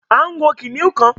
a ń wọ kìnìún kan.